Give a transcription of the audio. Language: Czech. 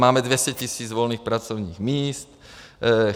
Máme 200 tisíc volných pracovních míst.